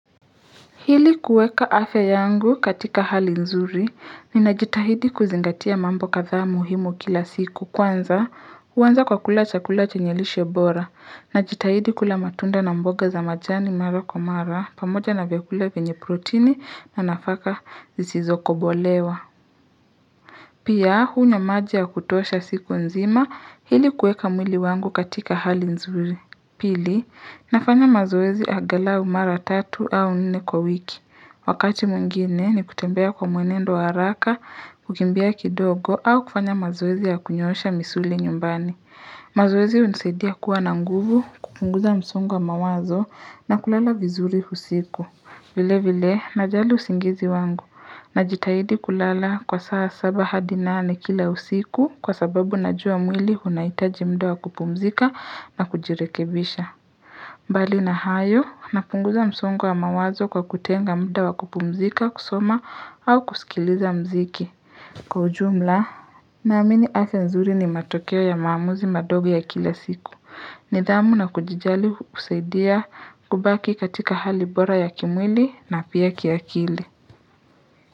Ili kueka afya yangu katika hali nzuri ninajitahidi kuzingatia mambo kadhaa muhimu kila siku kwanza huanza kwa kula chakula chenye lishe bora najitahidi kula matunda na mboga za majani mara kwa mara pamoja na vyakula vyenye proteini na nafaka zisizokobolewa. Pia hunywa maji ya kutosha siku nzima ili kueka mwili wangu katika hali nzuri pili nafanya mazoezi angalau mara tatu au nne kwa wiki. Wakati mwingine ni kutembea kwa mwenendo wa haraka, kukimbia kidogo au kufanya mazoezi ya kunyoosha misuli nyumbani. Mazoezi hunisaidia kuwa na nguvu, kupunguza msongo wa mawazo na kulala vizuri usiku. Vile vile najali usingizi wangu najitahidi kulala kwa saa saba hadi nane kila usiku kwa sababu najua mwili unaitaji muda wa kupumzika na kujirekebisha. Mbali na hayo napunguza msongo wa mawazo kwa kutenga muda wa kupumzika kusoma au kusikiliza muziki. Kwa ujumla naamini afya nzuri ni matokeo ya maamuzi madogo ya kila siku. Nidhamu na kujijali husaidia kubaki katika hali bora ya kimwili na pia kiakili.